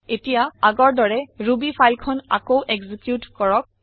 এতিয়া আগৰ দৰে ৰুবি ফাইল খন আকৌ এক্সিকিউত কৰক